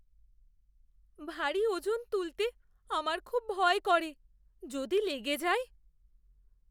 ভারী ওজন তুলতে আমার খুব ভয় করে। যদি লেগে যায়?